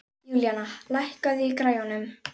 Júlíana, lækkaðu í græjunum.